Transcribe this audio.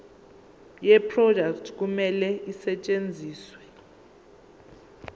yeproduct kumele isetshenziswe